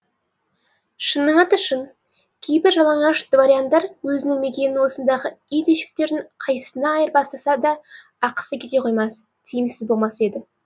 шынның аты шын кейбір жалаңаш дворяндар өзінің мекенін осындағы ит үйшіктерінің қайсысына айырбастаса да ақысы кете қоймас тиімсіз болмас еді